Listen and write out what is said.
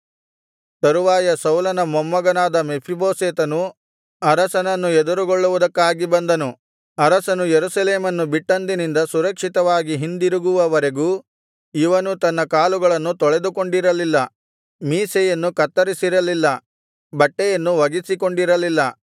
ತರುವಾಯ ಸೌಲನ ಮೊಮ್ಮಗನಾದ ಮೆಫೀಬೋಶೆತನು ಅರಸನನ್ನು ಎದುರುಗೊಳ್ಳುವುದಕ್ಕಾಗಿ ಬಂದನು ಅರಸನು ಯೆರೂಸಲೇಮನ್ನು ಬಿಟ್ಟಂದಿನಿಂದ ಸುರಕ್ಷಿತವಾಗಿ ಹಿಂದಿರುವವರೆಗೂ ಇವನು ತನ್ನ ಕಾಲುಗಳನ್ನು ತೊಳೆದುಕೊಂಡಿರಲಿಲ್ಲ ಮೀಸೆಯನ್ನು ಕತ್ತರಿಸಿರಲಿಲ್ಲ ಬಟ್ಟೆಯನ್ನು ಒಗೆಸಿಕೊಂಡಿರಲಿಲ್ಲ